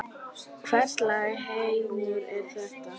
Hvers lags heimur er þetta?